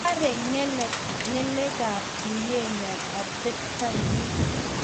Bare ngalekab tuiyenyo atebto nyi